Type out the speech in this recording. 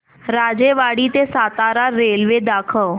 राजेवाडी ते सातारा रेल्वे दाखव